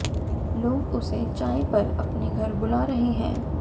लोग उसे चाय पर अपने घर बुला रहे हैं